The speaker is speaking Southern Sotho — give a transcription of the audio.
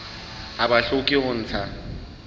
ha ba hloke ho ntsha